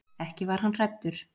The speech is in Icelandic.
Ekki var hann hræddur.